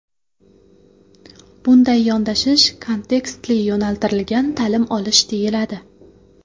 Bunday yondashish kontekstli-yo‘naltirilgan ta’lim olish deyiladi.